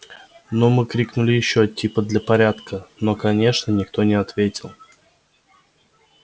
ну мы крикнули ещё типа для порядка но конечно никто не ответил